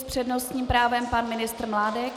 S přednostním právem pan ministr Mládek.